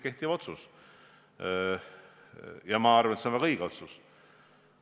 See otsus on kehtiv ja ma arvan, et see on väga õige otsus.